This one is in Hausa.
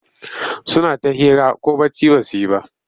Suna ta hira ko bacci ba su yi ba.